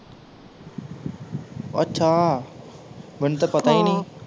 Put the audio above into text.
ਅੱਛਾ ਮੈਨੂੰ ਤੇ ਪਤਾ ਹਾਂ ਹੀ ਨਹੀਂ